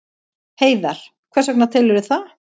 Heiðar: Hvers vegna telurðu það?